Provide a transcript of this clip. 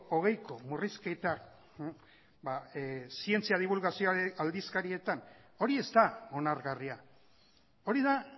hogeiko murrizketa zientzia dibulgazioaren aldizkarietan hori ez da onargarria hori da